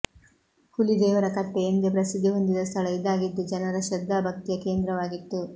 ಹುಲಿದೇವರಕಟ್ಟೆ ಎಂದೆ ಪ್ರಸಿದ್ದಿ ಹೊಂದಿದ್ದ ಸ್ಥಳ ಇದಾಗಿದ್ದು ಜನರ ಶ್ರದ್ಧಾ ಭಕ್ತಿಯ ಕೇಂದ್ರ ವಾಗಿತ್ತು